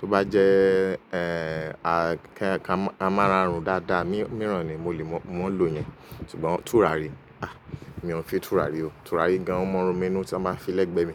Tó bá jẹ́ ẹ́ a ká máa ràárùn dáadáa, míran ni mo lè máa ń lò yẹn. Ṣùgbọ́n tùràrí, a! Mi ò ń fi tùràrí o. Tùràrí gan mo mọ̀ ọ́n ronú mélòó tí wọ́n máa fi lẹ́gbẹ́ mi.